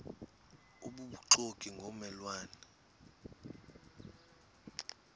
obubuxoki ngomme lwane